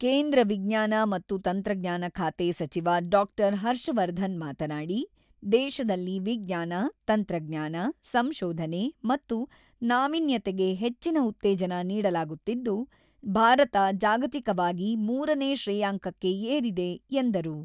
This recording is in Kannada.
ಕೇಂದ್ರ ವಿಜ್ಞಾನ ಮತ್ತು ತಂತ್ರಜ್ಞಾನ ಖಾತೆ ಸಚಿವ ಡಾಕ್ಟರ್ ಹರ್ಷವರ್ಧನ್ ಮಾತನಾಡಿ, ದೇಶದಲ್ಲಿ ವಿಜ್ಞಾನ, ತಂತ್ರಜ್ಞಾನ, ಸಂಶೋಧನೆ ಮತ್ತು ನಾವಿನ್ಯತೆಗೆ ಹೆಚ್ಚಿನ ಉತ್ತೇಜನ ನೀಡಲಾಗುತ್ತಿದ್ದು, ಭಾರತ ಜಾಗತಿಕವಾಗಿ ಮೂರನೇ ಶ್ರೇಯಾಂಕಕ್ಕೆ ಏರಿದೆ ಎಂದರು.